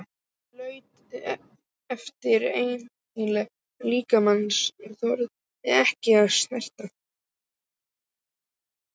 Hann laut yfir endilangan líkama mannsins, þorði ekki að snerta.